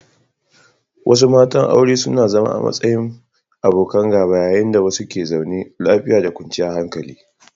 Wasu matan aure suna zama a matsayin abokan gaba yayin da wasu ke zaune lafiya da kwanciyar hankali.